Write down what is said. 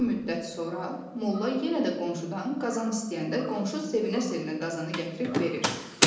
Bir müddət sonra Molla yenə də qonşudan qazan istəyəndə qonşu sevinə-sevinə qazanı gətirib verir.